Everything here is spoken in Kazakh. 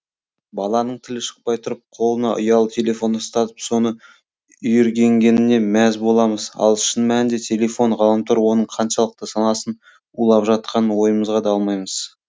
баланың тілі шықпай тұрып қолына ұялы телефон ұстатып соны үйренгеніне мәз боламыз ал шын мәнінде телефон ғаламтор оның қаншалықты санасын улап жатқанын ойымызға да алмаймыз